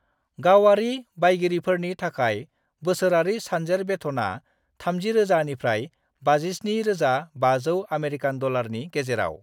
गावारि बायगिरिफोरनि थाखाय बोसोरारि सानजेर बेथना 30,000 - 57,500 आमेरिकान डलारनि गेजेराव।